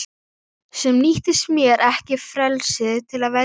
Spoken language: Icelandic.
Sem nýttir þér ekki frelsið til að velja Öldu.